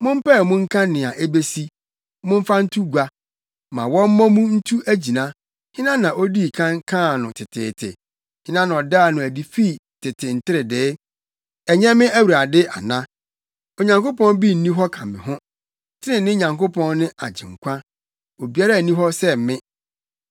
Mompae mu nka nea ebesi, momfa nto gua, ma wɔmmɔ mu ntu agyina. Hena na odii kan kaa no teteete, hena na ɔdaa no adi fi tete nteredee? Ɛnyɛ me Awurade ana? Onyankopɔn bi nni hɔ ka me ho, trenee Nyankopɔn ne Agyenkwa; obiara nni hɔ sɛ me.